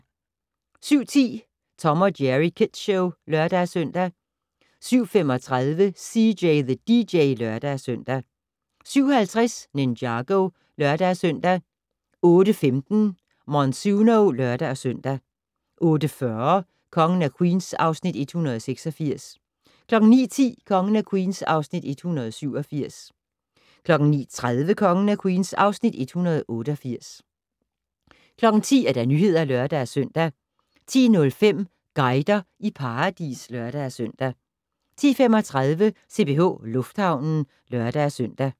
07:10: Tom & Jerry Kids Show (lør-søn) 07:35: CJ the DJ (lør-søn) 07:50: Ninjago (lør-søn) 08:15: Monsuno (lør-søn) 08:40: Kongen af Queens (Afs. 186) 09:10: Kongen af Queens (Afs. 187) 09:30: Kongen af Queens (Afs. 188) 10:00: Nyhederne (lør-søn) 10:05: Guider i paradis (lør-søn) 10:35: CPH Lufthavnen (lør-søn)